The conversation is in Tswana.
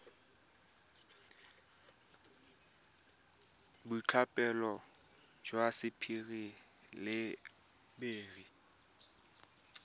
boitlhophelo jwa sapphire le beryl